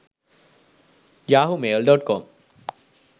yahoomail.com